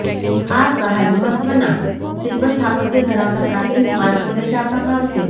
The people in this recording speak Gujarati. આ સહાય મહત્વના શિલ્પ સ્થાપત્ય ધરાવતા પ્રાચીન સ્મારકોને જ આપવામાં આવશે